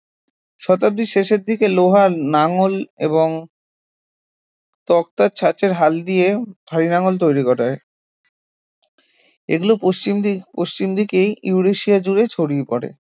শতাব্দীর শেষের দিকে লোহার লাঙল এবং তক্তার ছাঁচের হাল দিয়ে ভারী লাঙল তৈরি করা হয় এগুলো পশ্চিম দিক পশ্চিম দিকেই ইউরেশিয়া জুড়ে ছড়িয়ে পড়ে